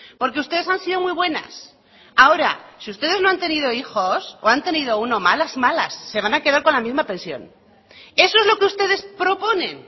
porque ustedes han sido muy buenas ahora si ustedes no han tenido hijos o han tenido uno malas malas se van a quedar con la misma pensión eso es lo que ustedes proponen